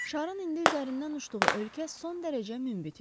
Şarın indi üzərindən uçduğu ölkə son dərəcə münbit idi.